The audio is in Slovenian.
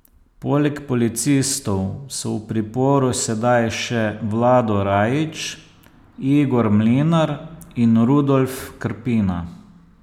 Poleg policistov so v priporu sedaj še Vlado Rajić, Igor Mlinar in Rudolf Krpina.